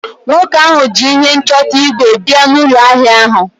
nwoke ahu ji ihe nchọta ígwè bia n’ụlọ ahịa ahụ